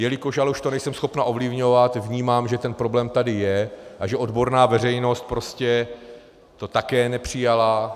Jelikož ale už to nejsem schopna ovlivňovat, vnímám, že ten problém tady je a že odborná veřejnost to prostě také nepřijala.